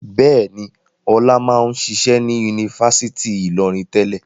Bẹ́ẹ̀ ni, Ọlá máa ń ṣiṣẹ́ ní Yunifásítì Ìlọrin tẹ́lẹ̀.